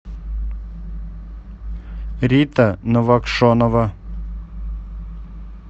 рита новокшонова